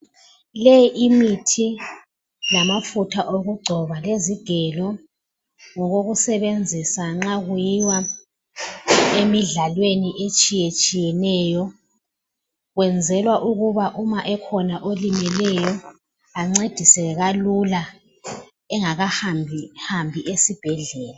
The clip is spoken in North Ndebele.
Leyi imithi lamafutha okugcoba lezigelo ngokokusebenzisa nxa kuyiwa emidlalweni etshiyatshiyeneyo. Kwenzelwa ukuba uma ekhona olimeleyo ancediseke kalula engakahambi hambi esibhedlela.